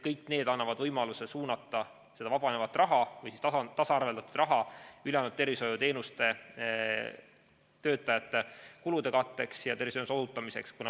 Kõik need annavad võimaluse suunata vabanevat või tasaarveldatud raha ülejäänud tervishoiutöötajate kulude katteks ja tervishoiuteenuste osutamiseks.